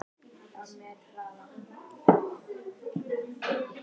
Rottur, mýs og hérar leika sér í laufgrænum snjónum.